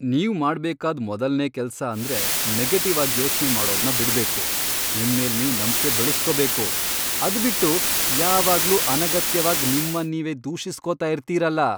ನೀವ್ ಮಾಡ್ಬೇಕಾದ್ ಮೊದಲ್ನೇ ಕೆಲ್ಸ ಅಂದ್ರೆ ನೆಗೆಟಿವ್ ಆಗ್ ಯೋಚ್ನೆ ಮಾಡೋದ್ನ ಬಿಡ್ಬೇಕು, ನಿಮ್ಮೇಲ್ ನೀವ್ ನಂಬ್ಕೆ ಬೆಳುಸ್ಕೋಬೇಕು. ಅದ್ಬಿಟ್ಟು ಯಾವಾಗ್ಲೂ ಅನಗತ್ಯವಾಗ್ ನಿಮ್ಮನ್ ನೀವೇ ದೂಷಿಸ್ಕೊತಾ ಇರ್ತೀರಲ.